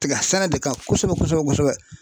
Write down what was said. Tig sɛnɛ de kan kosɛbɛ kosɛbɛ